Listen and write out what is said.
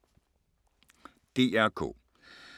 DR K